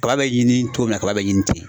Kaba be ɲini togo min na kaba be ɲini ten